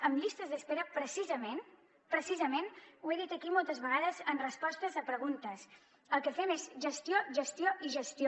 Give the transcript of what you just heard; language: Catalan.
en llistes d’espera precisament ho he dit aquí moltes vegades en respostes a preguntes el que fem és gestió gestió i gestió